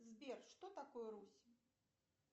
сбер что такое русь